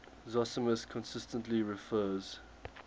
zosimus consistently refers